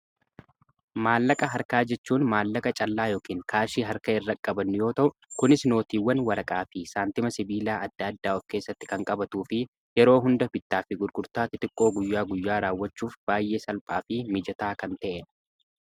maallaqa harkaa jechuun maallaqa callaa yookiin kaashii harka irraqqabannu yoota kunis nootiiwwan waraqaa fi saantima sibiilaa adda addaa of keessatti kan qabatuu fi yeroo hunda bittaa fi gurgurtaatti xiqqoo guyyaa guyyaa raawwachuuf baay'ee salphaa fi mijataa kan ta'eedha